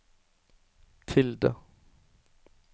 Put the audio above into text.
tilde